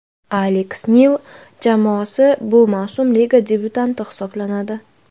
Aleks Nil jamoasi bu mavsum liga debyutanti hisoblanadi.